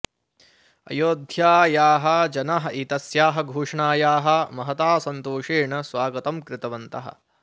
अयोध्यायाः जनाः एतस्याः घोषणायाः महता सन्तोषेण स्वागतं कृतवन्तः